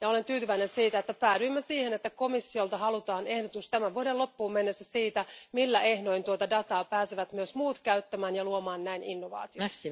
Olen tyytyväinen, että päädyimme siihen, että komissiolta halutaan ehdotus tämän vuoden loppuun mennessä siitä, millä ehdoin tuota dataa pääsevät myös muut käyttämään ja luomaan näin innovaatioita.